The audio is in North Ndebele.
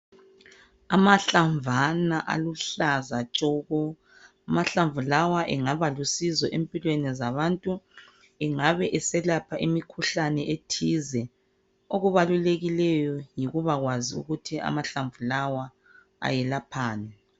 Amahlamvana aluhlaza tshoko, amahlamvu lawa engaba lusizo empilweni zabantu engabe eselapha imikhuhlane ethize. Okubalulekileyo yikuba kwazi ukuthi amahlamvu lawa ayelaphani.